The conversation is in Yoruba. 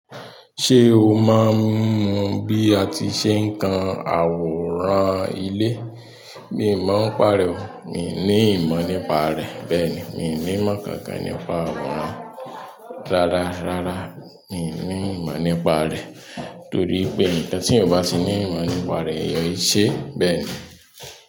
Ṣé o mọ bí a ti ṣe ń kan àwòrán ilé? Mi ò mọ ń pà rẹ́ o. Mi ò ní ìmọ̀ nípa rẹ̀. Bẹ́ẹ̀ni, mi nímọ̀ kankan nípa àwòrán. Rárá, rárá, mi ò ní ìmọ̀ nípa rẹ̀. Nítorí pé ǹnkan tí eeyan o ba ti ní ìmọ̀ nípa rẹ̀ eeyan e ṣe. Bẹ́ẹ̀ ni.